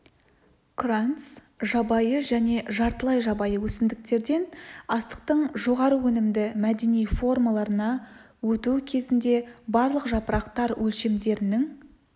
кранц жабайы және жартылай жабайы өсімдіктерден астықтың жоғары өнімді мәдени формаларына өту кезінде барлық жапырақтар өлшемдерінің